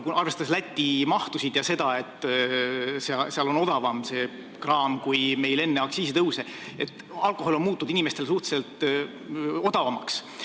Arvestades Läti mahtusid ja seda, et seal on see kraam odavam kui meil enne aktsiisitõuse, on alkohol muutunud inimestele suhteliselt odavamaks.